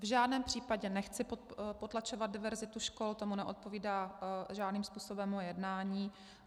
V žádném případě nechci potlačovat diverzitu škol, tomu neodpovídá žádným způsobem moje jednání.